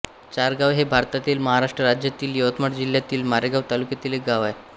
चारगाव हे भारतातील महाराष्ट्र राज्यातील यवतमाळ जिल्ह्यातील मारेगांव तालुक्यातील एक गाव आहे